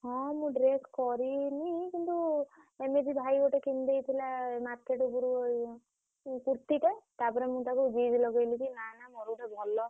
ହଁ ମୁଁ dress କରିନି କିନ୍ତୁ ଏମିତି ଭାଇ ଗୋଟେ କିଣିଦେଇଥିଲା market ରୁ କୁର୍ତୀଟା ତା ପରେ ମୁଁ ତାକୁ ଜିଦ୍ ଲଗେଇ ଲଗେଇ ନା ନା ମୋର ଗୋଟେ ଭଲ।